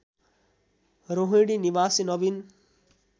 रोहिणी निवासी नवीन